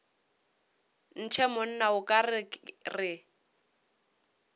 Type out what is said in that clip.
ntshe monna o ka re